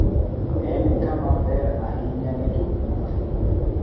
En kama ber ahinya ne jowuoth.